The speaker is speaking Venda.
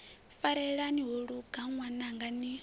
farelani ho luga ṅwananga ni